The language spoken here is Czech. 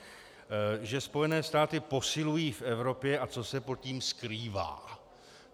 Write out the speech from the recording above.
Že Spojené státy posilují v Evropě a co se pod tím skrývá.